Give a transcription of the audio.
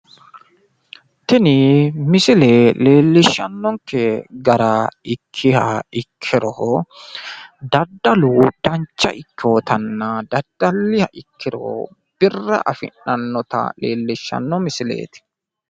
tini misile leelishanke gara ikkiha ikkiro, dadalu dancha ikkinotanna dadalliha ikkiro birra afi'nanita leelishanno misileeti.